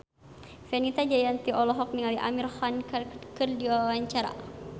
Fenita Jayanti olohok ningali Amir Khan keur diwawancara